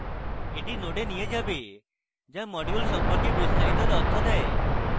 এটি node নিয়ে যাবে যা module সম্পর্কে বিস্তারিত তথ্য দেয়